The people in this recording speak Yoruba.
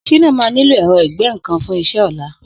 Shina mà niló ẹ̀rọ̀ igbẹ̀nnkán fùn iṣẹ̀ ọlá